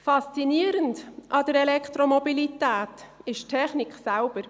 Faszinierend an der Elektromobilität ist die Technik an sich.